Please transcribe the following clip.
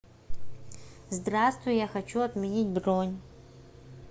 здравствуй я хочу отменить бронь